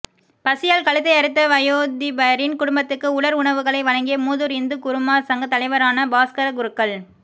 பசியால் கழுத்தை அறுத்த வயோதிபரின் குடும்பத்துக்கு உலர் உணவுகளை வழங்கிய மூதூர் இந்து குருமார் சங்கத் தலைவரான பாஸ்கரக் குருக்கள்